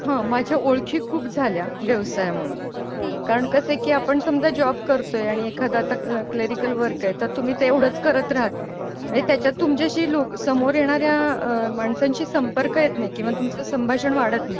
हा माझ्या ओळखी खूप झाल्या व्यवसायामूळ, कारण कसं की आपण समजा जॉब करतोय आणि एखादा क्लेरिकल वर्क आहे तर तुम्ही तेवढंच करत राहता आणि त्याच्यात तुमच्या शी समोर येणाऱ्या आह माणसांशी संपर्क येत नाही किंवा तुमचे संभाषण वाढत नाही.